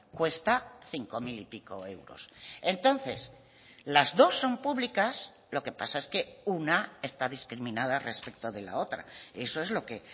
cuesta cinco mil y pico euros entonces las dos son públicas lo que pasa es que una está discriminada respecto de la otra eso es lo que